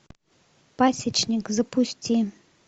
пасечник запусти